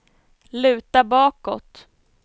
luta bakåt